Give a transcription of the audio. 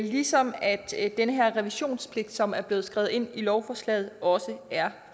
ligesom den her revisionspligt som er blevet skrevet ind i lovforslaget også er